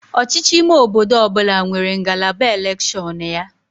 Ọchịchị ime obodo ọ bụla nwere ngalaba elekshọnụ ya